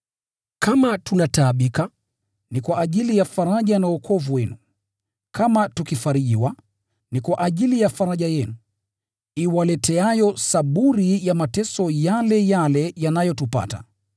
Kama tunataabika, ni kwa ajili ya faraja na wokovu wenu; kama tukifarijiwa, ni kwa ajili ya faraja yenu, iwaleteayo saburi ya mateso yale yale yanayotupata.